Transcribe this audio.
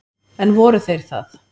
En voru þeir það?